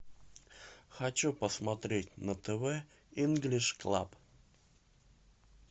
хочу посмотреть на тв инглиш клаб